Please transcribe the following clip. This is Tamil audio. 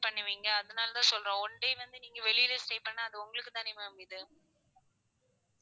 பண்ணுவீங்க அதுனாலதான் சொல்றேன் one day வந்து நீங்க வெளில stay பண்ணா அது உங்களுக்கு தான ma'am இது